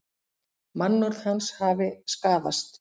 Mannorð hans hafi skaðast